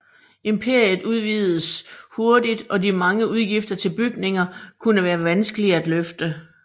Imperiet udvidedes hurtigt og de mange udgifter til bygninger kunne være vanskelige at løfte